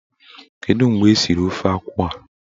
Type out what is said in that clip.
Kedu mgbe esiri ofe akwụ a?